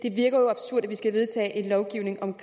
vi skal vedtage en lovgivning om